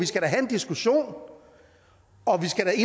skal have en diskussion og vi skal